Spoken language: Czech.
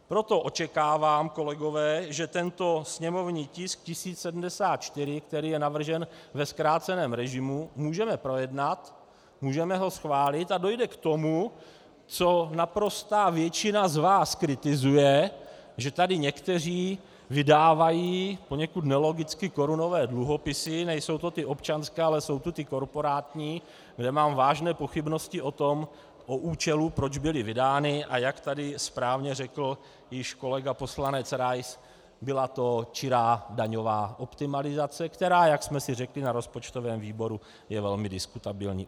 Proto očekávám, kolegové, že tento sněmovní tisk 1074, který je navržen ve zkráceném režimu, můžeme projednat, můžeme ho schválit, a dojde k tomu, co naprostá většina z vás kritizuje, že tady někteří vydávají poněkud nelogicky korunové dluhopisy, nejsou to ty občanské, ale jsou to ty korporátní, kde mám vážné pochybnosti o účelu, proč byly vydány, a jak tady správně řekl již kolega poslanec Rais, byla to čirá daňová optimalizace, která, jak jsme si řekli na rozpočtovém výboru, je velmi diskutabilní.